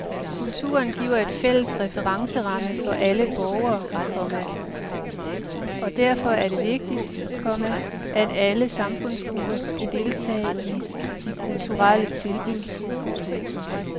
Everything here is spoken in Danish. Kulturen giver en fælles referenceramme for alle borgere, komma og derfor er det vigtigt, komma at alle samfundsgrupper kan deltage i de kulturelle tilbud. punktum